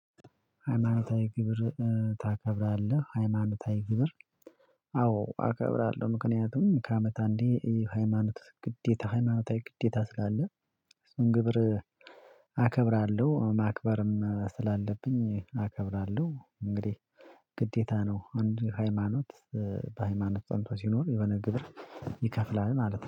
ሃይማኖታዊ ግብር ታከብራለህ? ሃይማኖታዊ ግብር አዎ አከብራለሁ። ምክንያቱም ከአመት አንዴ የሃይማኖት ግዴታ ሃይማኖታዊ ግዴታ አስጋ አለ። እሱን ግብር አከብራለሁ ማክበርም ስላለብኝ አከብራለሁ እንግዲህ ግዴታ ነው። አንድ ሃይማኖት በሃይማኖት ጸንቶ ሲኖር የሆነ ግብር ይከፍላል ማለት ነው